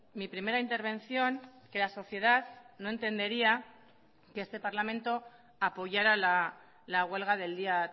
mi primera intervención que la sociedad no entendería que este parlamento apoyará la huelga del día